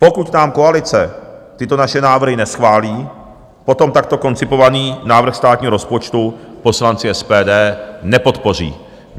Pokud nám koalice tyto naše návrhy neschválí, potom takto koncipovaný návrh státního rozpočtu poslanci SPD nepodpoří.